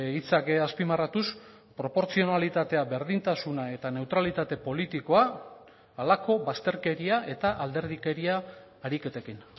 hitzak azpimarratuz proportzionalitatea berdintasuna eta neutralitate politikoa halako bazterkeria eta alderdikeria ariketekin